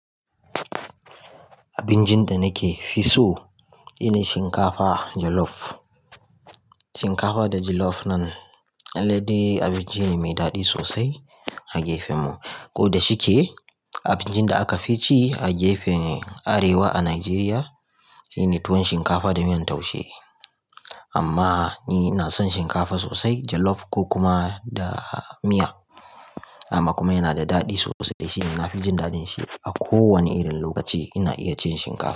Abincin da nake fi so shine shinkafa jolof. Shinkafa da jolof nan, lallai dai abinci ne mai daɗi sosai a gefenmu. Ko da shike abincin da aka fi ci a gefen arewa a Najeriya shine tuwon shinkafa da miyan taushe. Amma ni na son shinkafa sosai jolof ko kuma da miya. Amma kuma yana da daɗi sosai shine na fi jin daɗin shi. A ko wane irin lokaci ina iya cin shinkafa.